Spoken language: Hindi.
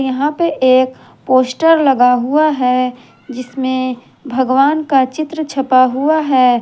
यहां पे एक पोस्टर लगा हुआ हैं जिसमें भगवान का चित्र छपा हुआ हैं।